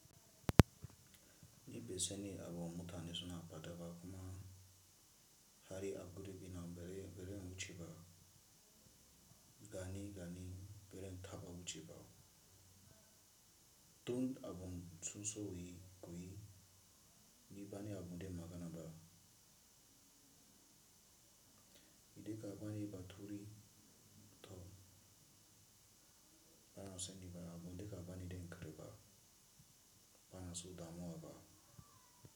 Ni be seni abu mutane suna fadaba kuma hari aburi bi na beren wuche ba, gani gani beren taba wuche ba. Tunt abum tsunso wuyi kuyi ni bane abunde magana ba. Ideka bane bathuri tho ba na sen ni ba abu ndeka bane den kare ba ba na su damowa ba.